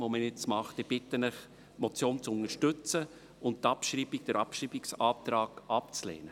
Ich bitte Sie, die Motion zu unterstützen und den Abschreibungsantrag abzulehnen.